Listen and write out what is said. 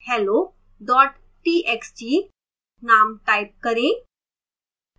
hello txt name type करें